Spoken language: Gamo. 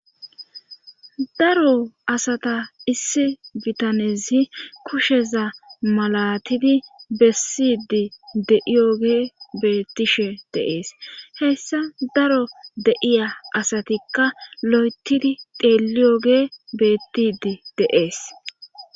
Daro asata issi bitanezi kusheza malatidi bessidi de'iyoge beettishe dees. heyssa daro deiya asatikka lo'etidi deeliyoge beettidi deees.